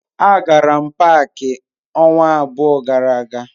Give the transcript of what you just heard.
A gara m pááki ọnwa abụọ gara aga